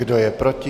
Kdo je proti?